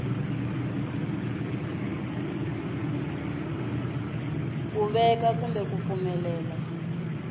ku veka kumbe ku pfumelela